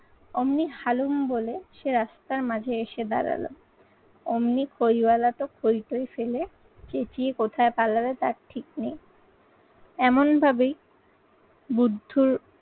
অমনি হালুম বলে সে রাস্তার মাঝে এসে দাঁড়ালো। অমনি খইওয়ালা তো খোই থই ফেলে, চেঁচিয়ে কোথায় পালাবে তার ঠিক নেই এমন ভাবে বুদ্ধর